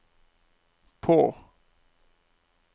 på